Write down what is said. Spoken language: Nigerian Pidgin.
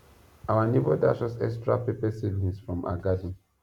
our neighbor dash us extra pepper seedlings from her garden